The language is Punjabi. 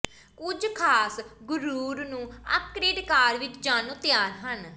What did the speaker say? ਕੁਝ ਖਾਸ ਗੁਰੁਰ ਨੂੰ ਅੱਪਗਰੇਡ ਕਾਰ ਵਿੱਚ ਜਾਣ ਨੂੰ ਤਿਆਰ ਹਨ